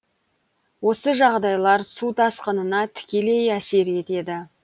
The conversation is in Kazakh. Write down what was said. осы жағдайлар су тасқынына тікелей әсер етеді